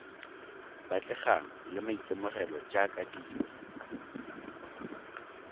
batlegang le maitemogelo jaaka dilo